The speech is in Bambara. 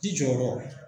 Ji jɔyɔrɔ